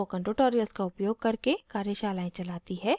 spoken tutorials प्रयोग करके कार्यशालाएं चलाती है